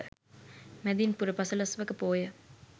මැදින් පුර පසළොස්වක පෝය